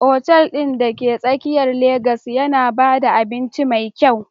Otal ɗin da ke tsakiyar Legas yana ba da abinci mai kyau